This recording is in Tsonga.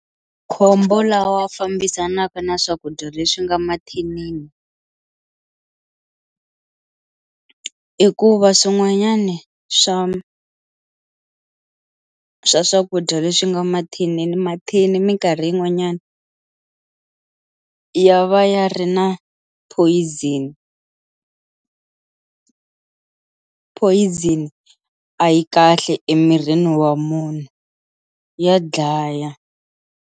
Makhombo lawa fambisanaka na swakudya leswi nga mathinini i ku va swin'wanyani swa swa swakudya leswi nga mathinini mathini minkarhi yin'wanyana ya va ya ri na poison, poison a yi kahle emirini wa munhu ya dlaya.